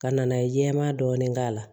Ka na ye jɛman dɔɔni k'a la